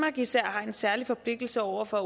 især har en særlig forpligtelse over for